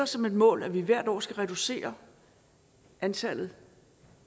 som et mål at vi hvert år skal reducere antallet